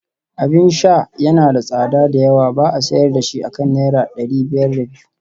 Abin sha yana da tsada da yawa ba a sayar da shi akan naira dari biyar da biyu